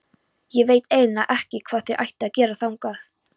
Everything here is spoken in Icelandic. Ég veit eiginlega ekki hvað þér ættuð að gera þangað.